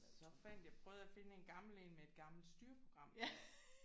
Så fandt jeg prøvede jeg at finde en gammel en med et gammelt styreprogram